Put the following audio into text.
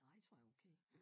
Nej det tror jeg er okay